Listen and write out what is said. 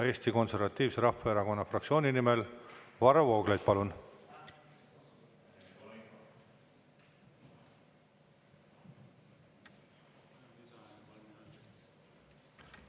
Eesti Konservatiivse Rahvaerakonna fraktsiooni nimel Varro Vooglaid, palun!